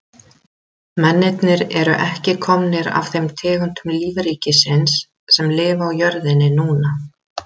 Mennirnir eru ekki komnir af þeim tegundum lífríkisins sem lifa á jörðinni núna.